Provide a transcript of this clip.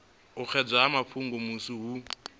u ekedza mafhungo musi hu